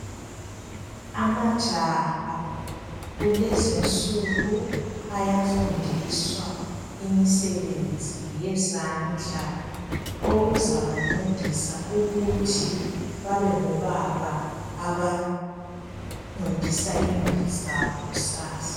Amajaha kulezinsuku ayafundiswa imisebenzi yezandla okuzabancedisa ukuthi babengobaba abancedisa imuli zabo kusasa.